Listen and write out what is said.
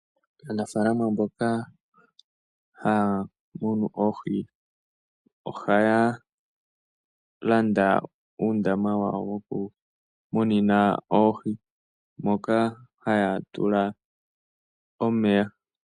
Aafalama mboka ha ya munu oohi, oha ya landa uundama wawo woku munina oohi, moka ha ya tula omeya.